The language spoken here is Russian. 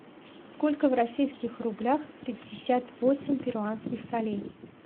сколько в российских рублях пятьдесят восемь перуанских солей